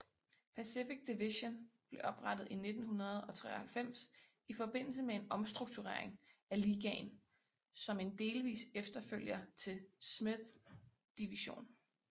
Pacific Division blev oprettet i 1993 i forbindelse med en omstrukturering af ligaen som en delvis efterfølger til Smythe Division